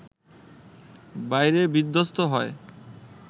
বাইরে বিধ্বস্ত হয়